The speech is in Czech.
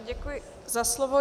Děkuji za slovo.